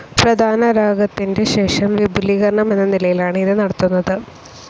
പ്രധാനരാഗത്തിൻ്റെ ശേഷം വിപുലീകരണം എന്ന നിലയിലാണ് ഇത് നടത്തുന്നത്.